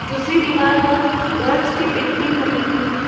दूसरी दीवार पर बर्ड्स की पेंटिंग बनी हुई हैं।